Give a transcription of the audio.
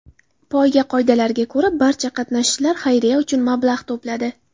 Poyga qoidalariga ko‘ra, barcha qatnashchilar xayriya uchun mablag‘ to‘pladi.